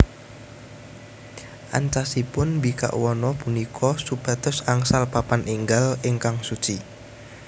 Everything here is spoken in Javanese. Ancasipun mbikak wana punika supados angsal papan enggal ingkang suci